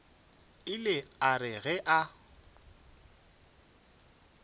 ile a re ge a